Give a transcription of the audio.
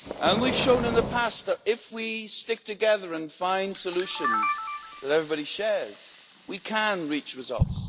We have shown in the past that if we stick together and find solutions that everybody shares we can reach results.